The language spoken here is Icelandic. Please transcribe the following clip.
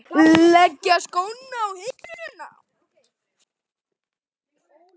Leggja skóna á hilluna?